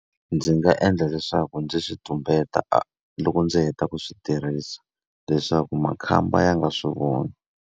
Ndzi nga endla leswaku ndzi swi tumbeta loko ndzi heta ku swi tirhisa leswaku makhamba ya nga swi voni.